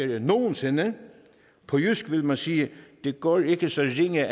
end nogen sinde på jysk ville man sige at det går ikke så ringe